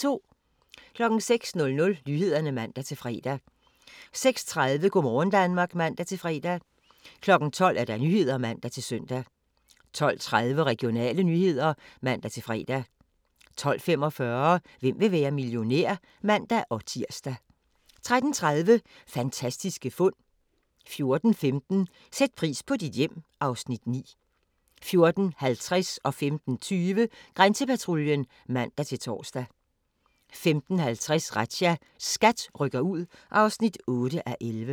06:00: Nyhederne (man-fre) 06:30: Go' morgen Danmark (man-fre) 12:00: Nyhederne (man-søn) 12:30: Regionale nyheder (man-fre) 12:45: Hvem vil være millionær? (man-tir) 13:30: Fantastiske fund 14:15: Sæt pris på dit hjem (Afs. 9) 14:50: Grænsepatruljen (man-tor) 15:20: Grænsepatruljen (man-tor) 15:50: Razzia – SKAT rykker ud (8:11)